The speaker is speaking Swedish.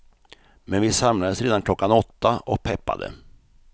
Men vi samlades redan klockan åtta och peppade.